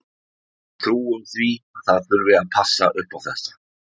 Við trúum því að það þurfi að passa upp á þetta.